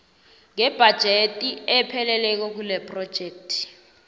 ngebhajethi epheleleko kilephrojekthi